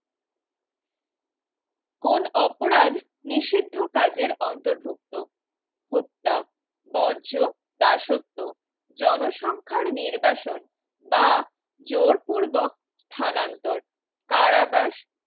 কোন অপরাধ নিষিদ্ধ কাজের অন্তর্ভুক্ত হত্যা বর্জ্য দাসত্ব জনসংখ্যার নির্বাসন বা জোরপূর্বক স্থানান্তর কারাবাস